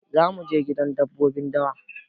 Za mu je gidan dabbobin dawa.